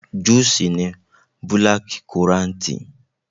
Júù ṣì ní búlákíkorantì.